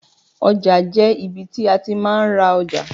Ọjà jẹ́ ibi tí a ti máa ń ra ọjà.